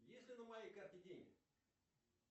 есть ли на моей карте деньги